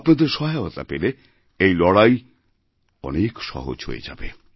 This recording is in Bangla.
আপনাদেরসহায়তা পেলে এই লড়াই অনেক সহজ হয়ে যাবে